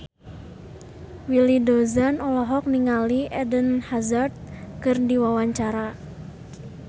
Willy Dozan olohok ningali Eden Hazard keur diwawancara